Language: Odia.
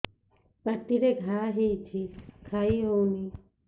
ପାଟିରେ ଘା ହେଇଛି ଖାଇ ହଉନି